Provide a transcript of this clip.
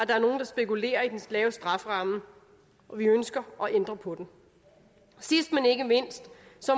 der er nogle der spekulerer i den lave strafferamme og vi ønsker at ændre på den sidst men ikke mindst